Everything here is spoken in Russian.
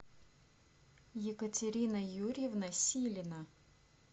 екатерина юрьевна силина